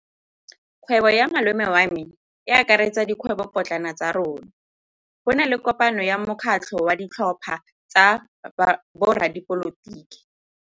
Kgwêbô ya malome wa me e akaretsa dikgwêbôpotlana tsa rona. Go na le kopanô ya mokgatlhô wa ditlhopha tsa boradipolotiki.